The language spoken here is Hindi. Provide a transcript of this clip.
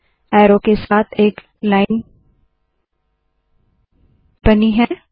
एरो के साथ एक लाइन बनी है